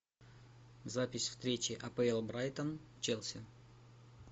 запись встречи апл брайтон челси